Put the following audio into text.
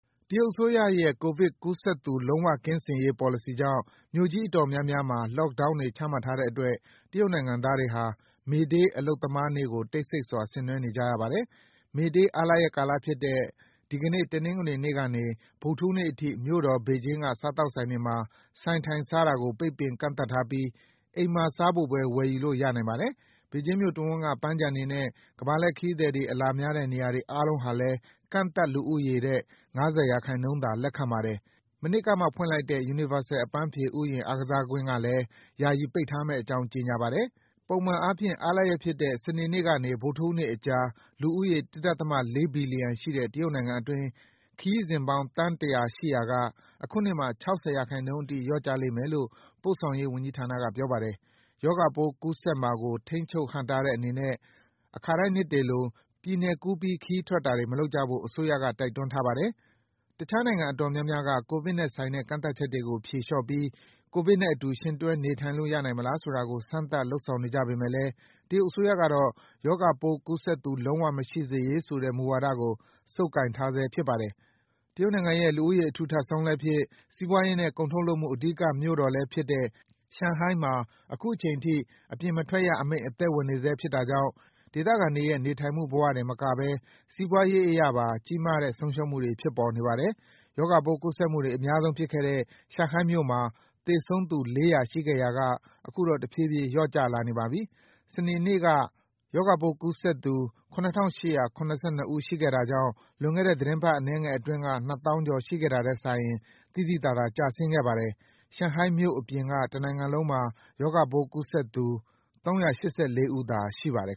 တရုတ်အစိုးရရဲ့ ကိုဗစ်ကူးစက်သူ လုံးဝကင်းစင်ရေး ပေါ်လစီကြောင့် မြို့ကြီးအတော်များများမှာ Lockdown တွေ ချမှတ်ထားတဲ့အတွက် တရုတ်နိုင်ငံသားတွေဟာ မေဒေး အလုပ်သမားနေ့ကို တိတ်ဆိတ်စွာ ဆင်နွှဲနေကြရပါတယ်။ မေဒေး အားလပ်ရပ်ကာလဖြစ်တဲ့ ဒီကနေ့ တနင်္ဂနွေနေ့ကနေ ဗုဒ္ဓဟူးနေ့အထိ မြို့တော် ဘေဂျင်းက စားသောက်ဆိုင်တွေမှာ ဆိုင်ထိုင်စားတာကို ပိတ်ပင် ကန့်သတ်ထားပြီး အိမ်မှာစားဖို့ပဲ ဝယ်ယူလို့ ရနိုင်ပါတယ်။ ဘေဂျင်းမြို့တဝန်းက ပန်းခြံတွေနဲ့ ကမ္ဘာလှည့်ခရီးသည်တွေ အလာများတဲ့ နေရာတွေ အားလုံးဟာလည်း ကန့်သတ်လူဦးရေထက် ၅၀ ရာခိုင်နှုန်းသာ လက်ခံပါတယ်။ မနှစ်ကမှ ဖွင့်လိုက်တဲ့ Universal အပန်းဖြေဥယျာဉ် ကစားကွင်းကလည်း ယာယီပိတ်ထားမယ့်အကြောင်း ကြေညာပါတယ်။ ပုံမှန်အားဖြင့် အားလပ်ရက်ဖြစ်တဲ့ စနေနေ့ကနေ ဗုဒ္ဓဟူးနေ့အကြား လူဦးရေ ၁ ဒသမ ၄ ဘီလီယံရှိတဲ့ တရုတ်နိုင်ငံအတွင်း ခရီးစဉ်ပေါင်း သန်း ၁၀၀ ရှိရာက အခုနှစ်မှာ ၆၀ ရာခိုင်နှုန်းအထိ လျော့ကျလိမ့်မယ်လို့ ပို့ဆောင်ရေးဝန်ကြီးဌာနက ပြောပါတယ်။ ရောဂါပိုးကူးစက်မှာကို ထိန်းချုပ် ဟန့်တားတဲ့အနေနဲ့ အခါတိုင်းနှစ်တွေလို ပြည်နယ်ကူးပြီး ခရီးထွက်တာတွေ မလုပ်ကြဖို့ အစိုးရက တိုက်တွန်းထားပါတယ်။ တခြားနိုင်ငံအတော်များများက ကိုဗစ်နဲ့ဆိုင်တဲ့ ကန့်သတ်ချက်တွေကို ဖြေလျော့ပြီး ကိုဗစ်နဲ့အတူ ယှဉ်တွဲနေထိုင်လို့ ရနိုင်မလား ဆိုတာကို စမ်းသပ် လုပ်ဆောင်နေကြပေမဲ့လည်း တရုတ်အစိုးရကတော့ ရောဂါပိုးကူးစက်သူ လုံးဝမရှိရေးဆိုတဲ့ မူဝါဒကို ဆုပ်ကိုင်ထားဆဲ ဖြစ်ပါတယ်။ တရုတ်နိုင်ငံရဲ့ လူဦးရေ အထူထပ်ဆုံး စီးပွားရေးနဲ့ ကုန်ထုတ်လုပ်မှု အဓိက မြို့တော်ဖြစ်တဲ့ ရှန်ဟိုင်းဟာလည်း အခုချိန်ထိ အပြင်မထွက်ရအမိန့် အသက်ဝင်နေဆဲ ဖြစ်တာကြောင့် ဒေသခံတွေရဲ့ နေထိုင်မှုဘဝတင်မကဘဲ စီးပွားရေးအရပါ ကြီးမားတဲ့ ဆုံးရှုံးမှုတွေ ဖြစ်ပေါ်နေပါတယ်။ ရောဂါပိုးကူးစက်မှုတွေ အများဆုံးဖြစ်ခဲ့တဲ့ ရှန်ဟိုင်းမြို့မှာ သေဆုံးသူ ၄၀၀ ရှိခဲ့ရာက အခုတော့ တဖြည်းဖြည်း လျော့ကျလာနေပါပြီ။ စနေနေ့က ၇,၈၇၂ ဦး ရှိခဲ့တာကြောင့် လွန်ခဲ့တဲ့ သီတင်းပတ် အနည်းငယ်အတွင်းက ၂၀,၀၀၀ ကျော် ရှိခဲ့တာထက်စာရင် သိသိသာသာ ကျဆင်းခဲ့ပါတယ်။ ရှန်ဟိုင်းမြို့အပြင်က တနိုင်ငံလုံးမှာ ရောဂါပိုးကူးစက်သူ ၃၈၄ ဦးသာ ရှိခဲ့ပါတယ်